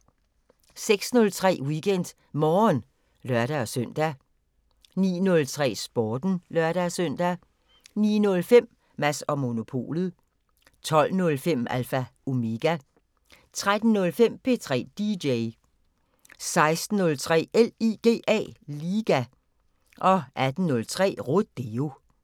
06:03: WeekendMorgen (lør-søn) 09:03: Sporten (lør-søn) 09:05: Mads & Monopolet 12:05: Alpha Omega 15:03: P3 DJ 16:03: LIGA 18:03: Rodeo